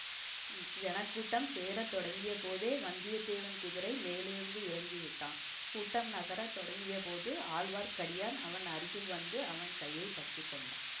ஜனக்கூட்டம் சேர தொடங்கியபோதே வந்தியத்தேவன் குதிரை மேலிருந்து இறங்கிவிட்டான் கூட்டம் நகர தொடங்கியபோது ஆழ்வார்க்கடியான் அவன் அருகில் வந்து அவன் கையை பற்றிக்கொண்டான்